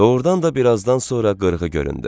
Doğrudan da birazdan sonra qırğı göründü.